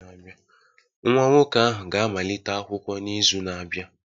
Nwa nwoke ahụ ga-amalite akwụkwọ n'izu na-abịa